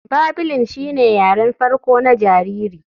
Babling shine yaren farko na jariri.